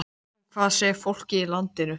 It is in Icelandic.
En hvað segir fólkið í landinu?